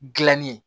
Gilanni